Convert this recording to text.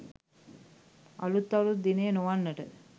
අලුත් අවුරුදු දිනය නොවන්නට